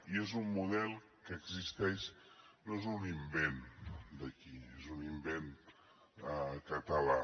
i és un model que existeix no és un invent d’aquí no és un invent català